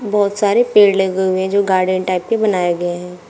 बहुत सारे पेड़ लगे हुए है जो गार्डन टाइप के बनाए गए हैं।